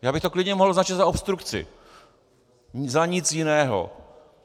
Já bych to klidně mohl označit za obstrukci, za nic jiného.